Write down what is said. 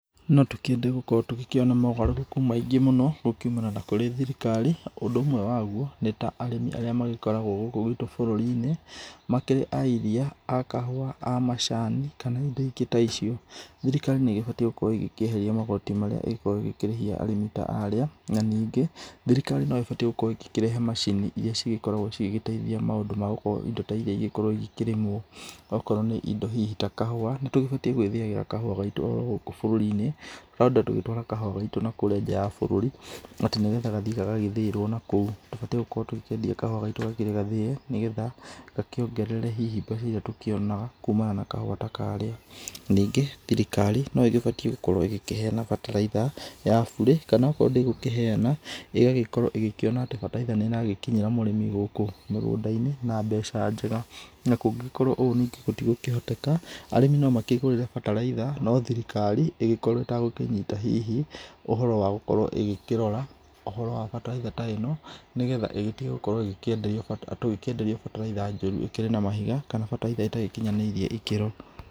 No tũkĩende gũkorwo tũgĩkĩona mogarũrũku maingĩ mũno gũkiumana na kũrĩ thirikari. Ũndũ ũmwe waguo, nĩta arĩmi arĩa magĩkoragwo gũkũ gwitũ bũruri-inĩ, makĩrĩ a iria, a kahũa,a macani kana indo ingĩ ta icio, thirikari nĩ ĩgĩbatiĩ gũgĩkorwo ĩgĩkĩeheria magoti marĩa ĩgĩkoragwo ĩgĩkĩrĩhia arĩmi ta arĩa. Na ningĩ thirikari no ĩbatie gukorwo ĩkĩrehe macini iria cigĩkoragwo cigĩgĩteithia maũndũ magũkorwo indo ta iria cigĩkorwo ikĩrĩmwo. Okorwo nĩ indo hihi ta kahũa, nĩtũbatie gũkorwo tũgĩĩthiĩra kahũa gaitũ o gũkũ bũrũrĩ-inĩ. Handũ ha gukorwo tũgitwara kahũa gaitũ na kũrĩa nja wa bũrũri atĩ nĩgetha gathiĩ gagathĩĩrwo na kũu. Tũbatie gũkorwo tũkĩendia kahũa gaitũ gakĩrĩ gathĩe nĩgetha gakĩongerere hihi mbeca iria tũkĩona kuumana na kahũa ta karĩa. Nĩngĩ thirikari no ĩgĩbatiĩ gũkorwo ĩgĩkĩheana bataraitha ya burĩ. Kana akorwo ndĩgũkĩheana, ĩgagĩkorwo ĩgĩkĩona atĩ bataraitha nĩ ĩragĩkinyĩra murĩmi gũkũ mĩgũnda-inĩ na mbeca njega. Na kũngĩkorwo ũũ ningĩ gũtigũkĩhotekeka, arĩmi no makĩĩgurĩre bataraitha, no thirikari ĩgĩkorwo ĩtagũkĩnyita hihi ũhoro hihi wa gũgĩkorwo ĩgĩkĩrora ũhoro wa bataraitha ta ĩno nĩgetha ĩgĩtige gũkoragwo ĩgĩkĩenderio tũgĩkĩenderio bataraitha njũru ĩkĩrĩ na mahiga kana bataraitha ĩtagĩkinyanĩirie ikĩro.